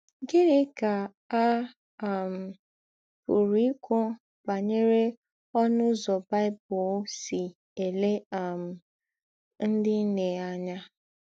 Gịnị kà à um pụ̀rù́ íkwú bányèrè ǒ̀nụ̀ ụzọ̀ Bible sì èlè um ńdị nnè ányà?